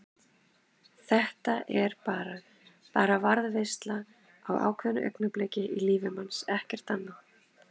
Þetta er bara. bara varðveisla á ákveðnu augnabliki í lífi manns, ekkert annað.